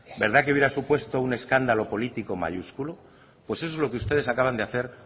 verdad que hubiera supuesto un escándalo político mayúsculo pues eso es lo que ustedes acaban de hacer